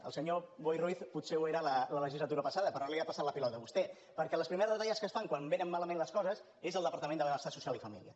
el senyor boi ruiz potser ho era la legislatura passada però ara li ha passat la pilota a vostè perquè les primeres retallades que es fan quan vénen malament les coses és al departament de benestar social i família